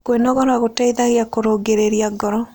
Kwĩnogora gũteĩthagĩa kũrũngĩrĩrĩa ngoro